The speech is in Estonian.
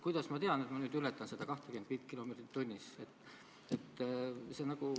Kuidas ma tean, et ma nüüd ületan seda 25 kilomeetrit tunnis?